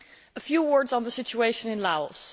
A few words on the situation in Laos.